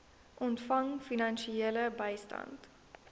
ontvang finansiële bystand